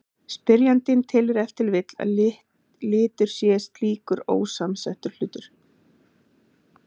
Spyrjandinn telur ef til vill að litur sé slíkur ósamsettur hlutur.